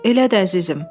Elə də əzizim.